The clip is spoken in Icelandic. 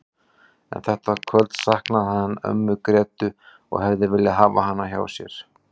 En þetta kvöld saknaði hann ömmu Grétu og hefði viljað hafa hana hjá sér.